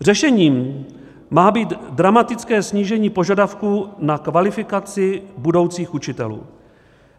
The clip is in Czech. Řešením má být dramatické snížení požadavků na kvalifikaci budoucích učitelů.